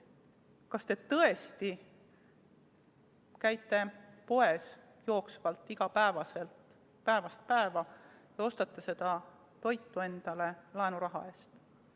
Kas te tõesti käite päevast päeva poes ja ostate toitu laenuraha eest?